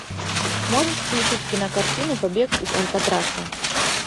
можешь включить кинокартину побег из алькатраса